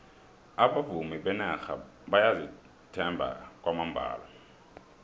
abavumi benarha bayazithemba kwamambala